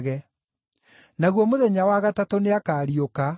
Naguo mũthenya wa gatatũ nĩakariũka.”